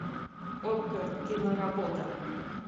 окко киноработа